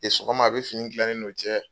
Sɔgɔma, a bɛ fini tila ne n'o cɛ.